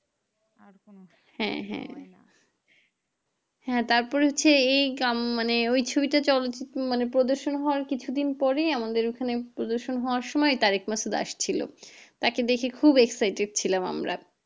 হ্যাঁ হ্যাঁ হ্যাঁ তার পর হচ্ছে এই গ্রাম~মানে ওই ছবিটা চালচিত্র প্রদর্শন হওয়ার কিছুদিন পরেই আমাদের এখানে প্রদর্শন হবার সময় তারক মাসুদ আসছিল তাকে দেখে খুব excited ছিলাম আমরা